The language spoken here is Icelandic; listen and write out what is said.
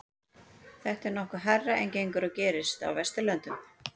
þetta er nokkuð hærra en gengur og gerist á vesturlöndum